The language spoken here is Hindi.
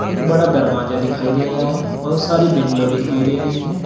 एक बड़ा दरवाजा दिखाई दे रहा है बहुत सारी विंडो दिखाई दे रही है।